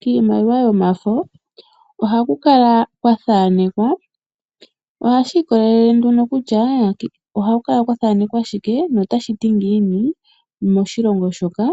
Kiimaliwa yomafo ohaku kala kwa thanekwa, ohashi ikolele nduno kutya ohaku kala kwa thanekwa shike no tashiti ngiini moshilongo moka